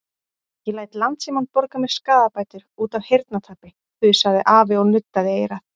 Ég læt Landsímann borga mér skaðabætur út af heyrnartapi þusaði afi og nuddaði eyrað.